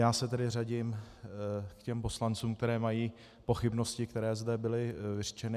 Já se tedy řadím k těm poslancům, kteří mají pochybnosti, které zde byly vyřčeny.